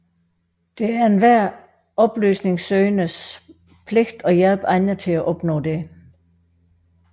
Det er enhver oplysningssøgendes pligt at hjælpe andre til at opnå dette